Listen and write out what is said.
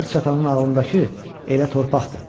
Hər çatanın ağlındakı elə torpaqdır.